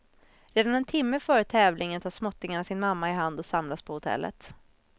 Redan en timme före tävlingen tar småttingarna sin mamma i hand och samlas på hotellet.